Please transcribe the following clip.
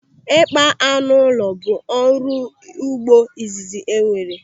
Ịkpa anụ ụlọ bụ ọrụ ugbo izizi enwere.